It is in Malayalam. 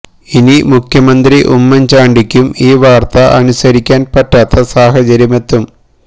ഇനി മുഖ്യമന്ത്രി ഉമ്മൻ ചാണ്ടിക്കും ഈ വാർത്ത അനുസരിക്കാൻ പറ്റാത്ത സാഹചര്യമെത്തും